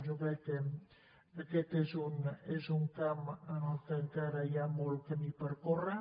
jo crec que aquest és un camp en què encara hi ha molt camí per córrer